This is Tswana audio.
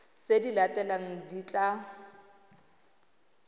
tse di latelang di tla